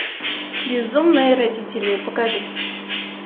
безумные родители покажи